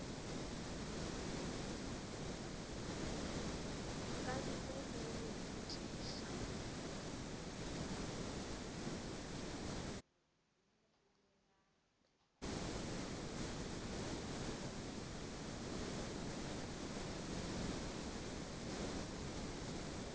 ka ntle le go botšiša